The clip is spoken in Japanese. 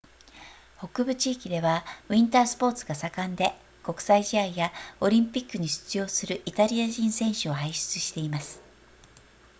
北部地域ではウィンタースポーツが盛んで国際試合やオリンピックに出場するイタリア人選手を輩出しています